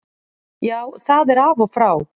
Já, það er af og frá.